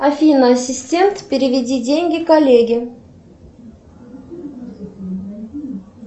афина ассистент переведи деньги коллеге